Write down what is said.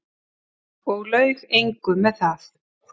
Og laug engu með það.